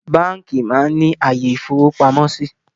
Báńkì máa ń ní àyè ìfowópamọ́ síí